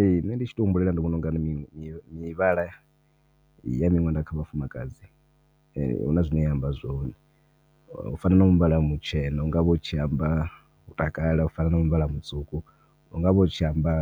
Ehe ṋne ndi tshi tou humbulela ndi vhona unga mivhala ya miṅwenda kha vhafumakadzi huna zwine ya amba zwone u fana na muvhala mutshena unga vha u tshi amba u takala u fana na muvhala mutswuku u anga vha u tshi amba